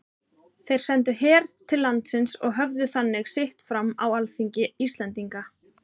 Þeir sendu her til landsins og höfðu þannig sitt fram á alþingi Íslendinga.